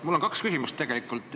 Mul on tegelikult kolm küsimust.